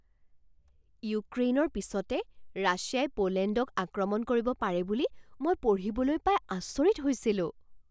ইউক্ৰেইনৰ পিছতে ৰাছিয়াই পোলেণ্ডক আক্ৰমণ কৰিব পাৰে বুলি মই পঢ়িবলৈ পাই আচৰিত হৈছিলো।